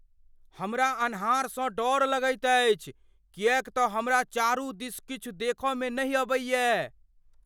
हमरा अन्हारसँ डर लगैत अछि किएक त हमरा चारु दिस किछु देख में नहि अबैये।